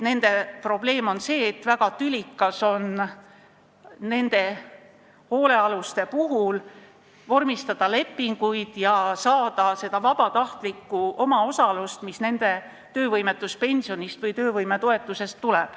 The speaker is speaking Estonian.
Nende probleem on see, et väga tülikas on nende hoolealustega lepinguid vormistada ja saada kätte seda vabatahtlikku omaosalust, mis tuleb nende töövõimetuspensionist või töövõimetoetusest.